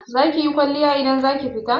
Zakiyi kwalliya idan zaki fita?